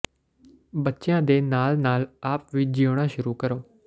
ਬੱਚਿਆਂ ਦੇ ਨਾਲ ਨਾਲ ਆਪ ਵੀ ਜਿਉਣਾ ਸ਼ੁਰੂ ਕਰੋ